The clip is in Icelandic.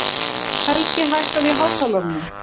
Helgi, hækkaðu í hátalaranum.